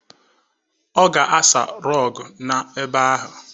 Ọ ga-asa rọgụ na-ebe ahụ.